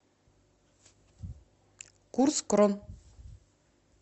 курс крон